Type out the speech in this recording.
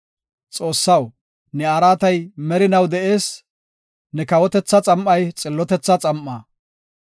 Xoossaw, ne araatay merinaw de7ees; ne kawotethaa xam7ay xillotetha xam7aa.